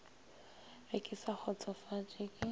ge ke sa kgotsofatše ke